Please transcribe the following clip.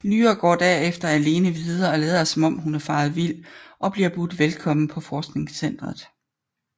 Lyra går derefter alene videre og lader som om hun er faret vild og bliver budt velkommen på forskningscentret